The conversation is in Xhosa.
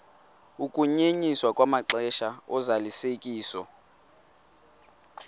ukunyenyiswa kwamaxesha ozalisekiso